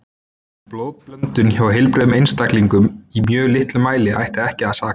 Blóðblöndun hjá heilbrigðum einstaklingum í mjög litlum mæli ætti ekki að saka.